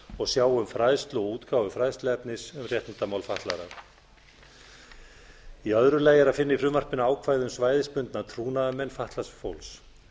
og sjá um fræðslu og útgáfu fræðsluefnis um réttindamál fatlaðra í öru lagi er að finna í frumvarpinu ákvæði um svæðisbundna trúnaðarmenn fatlaðs fólks